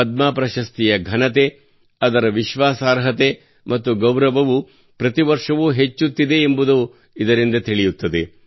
ಪದ್ಮ ಪ್ರಶಸ್ತಿಯ ಘನತೆ ಅದರ ವಿಶ್ವಾಸಾರ್ಹತೆ ಮತ್ತು ಗೌರವವು ಪ್ರತಿ ವರ್ಷವೂ ಹೆಚ್ಚುತ್ತಿದೆ ಎಂಬುದನ್ನು ಇದರಿಂದ ತಿಳಿಯುತ್ತದೆ